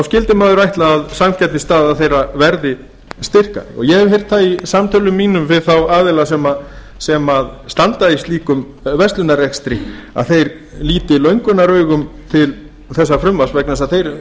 skyldi maður ætla að samkeppnisstaða þeirra verði styrkari og ég hef heyrt það í samtölum mínum við þá aðila sem standa í slíkum verslunarrekstri að þeir líta löngunaraugum til þessa frumvarps vegna þess að